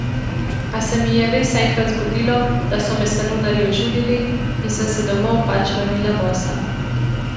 A se mi je res enkrat zgodilo, da so me salonarji ožulili in sem se domov pač vrnila bosa.